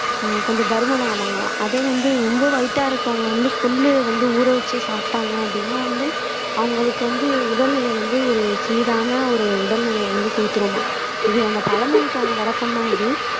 கொஞ்சம் பருமன் ஆவாங்களாம் அதே வந்து ரொம்ப வைட்டா இருக்கவங்க வந்து கொள்ளு வந்து ஊற வச்சு சாப்பிட்டாங்க அப்படின்னா வந்து அவங்களுக்கு வந்து உடல்நிலை வந்து ஒரு சீரான ஒரு உடல்நிலையை வந்து குடுத்திருமாம் இது அந்த பழமொழிக்கான விளக்கம்தான் இது